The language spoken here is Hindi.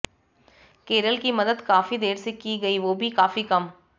केरल की मदद काफी देर से की गई वो भी काफी कम